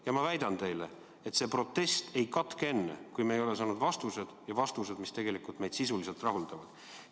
Ja ma väidan teile, et see protest ei katke enne, kui me ei ole saanud vastuseid, ja selliseid vastuseid, mis meid sisuliselt rahuldavad.